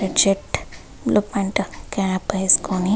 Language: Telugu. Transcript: red shirt blue pant cap వేసుకుని --